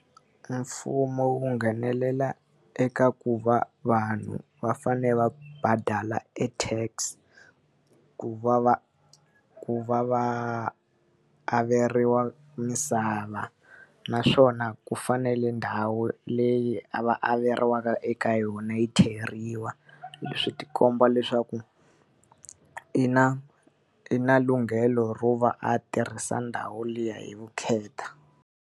Mfumo wu nghenelela eka ku va vanhu va fanele va badala e tax ku va va ku va averiwa misava. Naswona ku fanele ndhawu leyi a va averiwaka eka yona yi theriwa swi ti komba leswaku i na i na lunghelo ro va a tirhisa ndhawu liya hi vukheta.